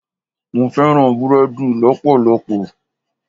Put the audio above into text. Mo fẹ́ràn búrẹ́dì lọpọlọpọ.